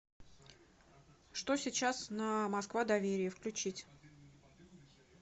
что сейчас на москва доверие включить